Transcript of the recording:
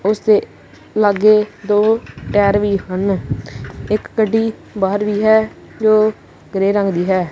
ਉਸਦੇ ਲਾਗੇ ਦੋ ਟਾਇਰ ਵੀ ਹਨ ਇੱਕ ਗੱਡੀ ਬਾਹਰ ਵੀ ਹੈ ਜੋ ਗ੍ਰੇਯ ਰੰਗ ਦੀ ਹੈ।